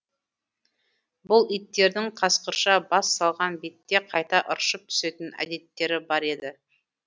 бұл иттердің қасқырша бас салған бетте қайта ыршып түсетін әдеттері бар еді